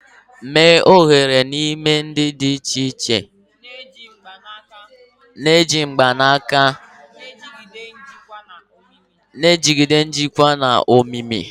Mee oghere n'ime ihe dị iche iche na-eji mgbanaka, na-ejigide njikwa na omimi.